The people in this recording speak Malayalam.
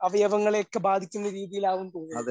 അവയവങ്ങളെക്കെ ബാധിക്കുന്ന രീതിയിലാകും എന്ന് തോന്നുണു.